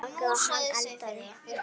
Hún bakaði, hann eldaði.